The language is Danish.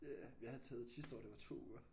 Ja jeg har taget et sidste år det var 2 uger